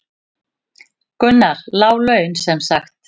Gunnar: Lág laun sem sagt?